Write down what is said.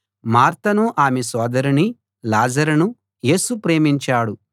మార్తను ఆమె సోదరిని లాజరును యేసు ప్రేమించాడు